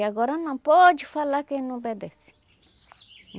E agora não pode falar que não obedece.